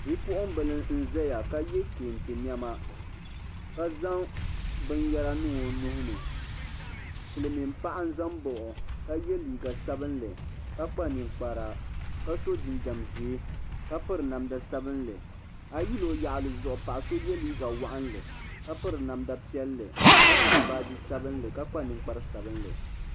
Be puɣ'm nƶaya ka yɛ kantɛ nema ka ƶanŋ bɛnyara ninŋ Onuhini Silminpaɣa nƶanba ɔ kayɛ liga sabenli ka kpa ninkpara ka so gimjɛm ʒɛɛ ka pɛri namda sabili ayi yuli Oyaɣli paɣaso ye liga waɣanli ka pɛri namdi pɛli ka nyɛɣi baagi sabili ka kpa ninkpari sabili.